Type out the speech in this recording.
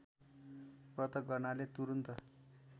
व्रत गर्नाले तुरुन्त